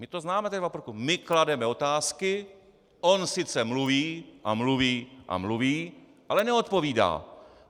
My to známe - my klademe otázky, on sice mluví a mluví a mluví, ale neodpovídá.